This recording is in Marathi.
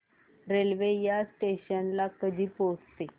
रेल्वे या स्टेशन ला कधी पोहचते